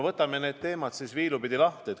Võtame need teemad viilu pidi lahti.